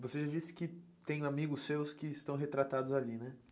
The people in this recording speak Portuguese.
Você já disse que tem amigos seus que estão retratados ali, né?